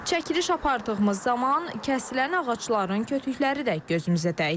Çəkiliş apardığımız zaman kəsilən ağacların kötükəri də gözümüzə dəydi.